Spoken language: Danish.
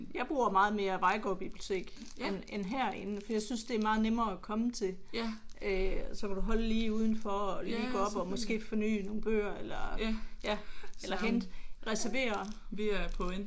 Jeg bruger meget mere Vejlgaard bibliotek end end herinde for jeg synes det er meget nemmere at komme til øh så kan du holde lige udenfor og lige gå op og måske fornye nogen bøger eller eller hente reservere